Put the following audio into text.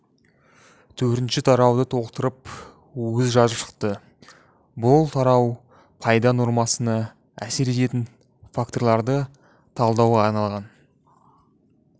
төртінші тарауды толықтырып өзі жазып шықты бұл тарау пайда нормасына әсер ететін факторларды талдауға арналған